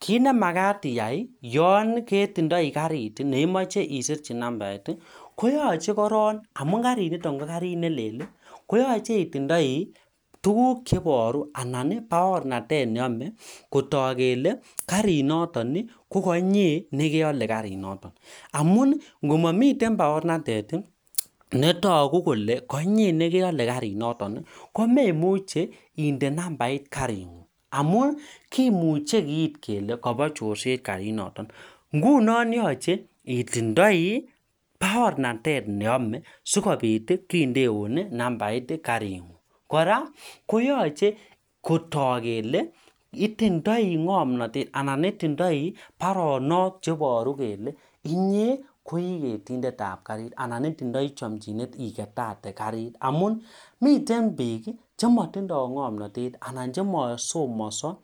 Kit nemagat iyai yon itindoi karit isirchi nambait koyoche korong amun kariniton KO karit nelel koyoche itindoi tukuk cheiboru Alan baornatet neyome kotok kele kariniton KO KO inyee negole garinoton amun komiten baornatet netogu Kole kotinye negole kariniton komemuche iyal kariniton komemuche inde nambait kariniton kimuche Keit kele Bo chorset kariniton ngunon yoche itindoi baornatet neyome sigobit kindeun nambait karini kora koyoche kotok kele itindoi ngomnotet Alan baronok cheiboru kele inye ko igetindet tab karit Alan itindoi chomjinet igetate karit amun miten bik chemotindo ngomnotet Alan chemosomoso